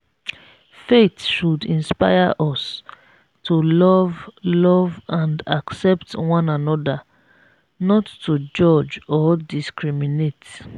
faith should inspire us to love love and accept one another not to judge or discriminate.